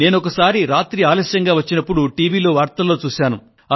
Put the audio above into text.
నేను ఒకసారి రాత్రి ఆలస్యంగా వచ్చినపుడు టీవీలో వార్తల్లో చూశాను